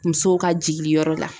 Muso ka jigili yɔrɔ la.